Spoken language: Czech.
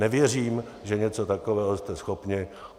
Nevěřím, že něco takového jste schopni.